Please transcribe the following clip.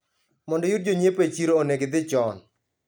Mondo iyud jonyiepo e chiro onego idhii chon